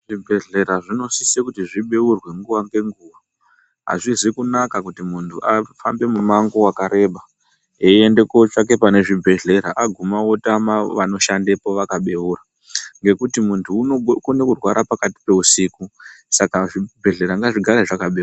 Zvibhedhlera zvinosise kuti zvibeurwe nguva ngenguva hazvizi kunaka kuti munhu afambe mumango vakareba eiende kotsvake pane zvibhedhlera aguma otama vanoshandepo vakabeura . Ngekuti muntu unokone kurwara pakati peusiku saka zvibhedhlera ngazvigare zvakabeurwa.